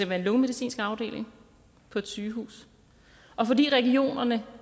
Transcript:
være en lungemedicinsk afdeling på et sygehus og fordi regionerne